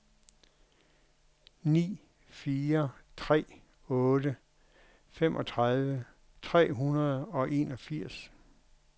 ni fire tre otte femogtredive tre hundrede og enogfirs